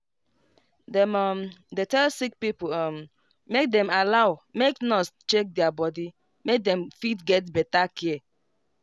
dem um dey tell sick pipo um make them allow make nurse check their body make them fit get better care.